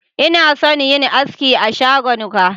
Ina son yin aski a shagon ka.